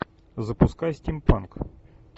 запускай стимпанк